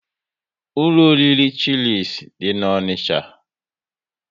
Ụlọ oriri Chilis dị n'Onicha